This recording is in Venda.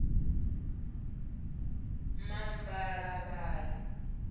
mabalavhali